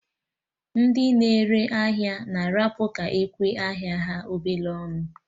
Ndị na-ere ahịa na arapụ ka ekwe ahịa ha obele ọnụ